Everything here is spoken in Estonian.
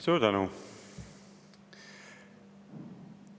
Suur tänu!